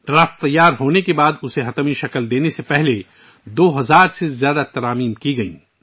مسودہ تیار کرنے کے بعد، حتمی ڈھانچہ مکمل کئے جانے سے پہلے، اس میں 2000 سے زیادہ ترامیم شامل کی گئیں